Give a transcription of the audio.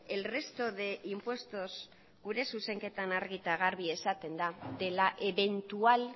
el resto de impuestos gure zuzenketan argi eta garbi esaten da de la eventual